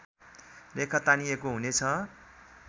रेखा तानिएको हुनेछ